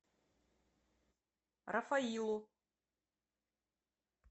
рафаилу